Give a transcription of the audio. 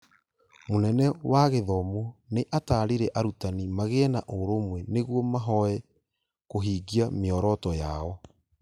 Mũnene wa gĩthomo nĩ atarire arutani magĩe na ũrũmwe nĩguo mahoye kũhingia mĩoroto yao